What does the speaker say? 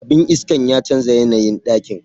Abin iskan ya chanza yanayin dakin.